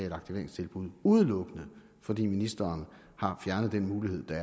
et aktiveringstilbud udelukkende fordi ministeren har fjernet den mulighed der